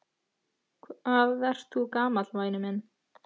Hvað ert þú gamall væni minn?